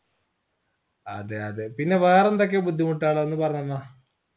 അതെ അതെ പിന്നെ വേറെന്തൊക്കെ ബുദ്ധിമുട്ടാൾ ഒന്ന് പറഞ്ഞാന്ന